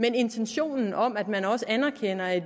en intention om at man også anerkender at